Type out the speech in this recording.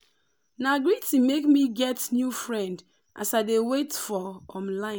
na greeting make me get new friend as i dey wait for um line.